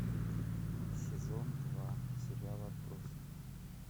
сезон два сериал отбросы